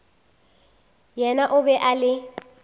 yena o be a le